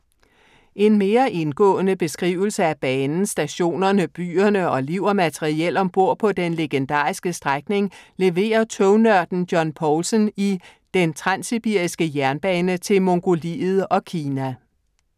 En mere indgående beskrivelse af banen, stationerne, byerne og liv og materiel ombord på den legendariske strækning, leverer tognørden John Poulsen i Den Transsibiriske jernbane til Mongoliet og Kina.